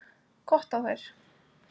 Gott á þær!